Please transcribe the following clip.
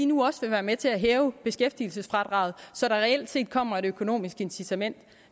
nu også vil være med til at hæve beskæftigelsesfradraget så der reelt set kommer et økonomisk incitament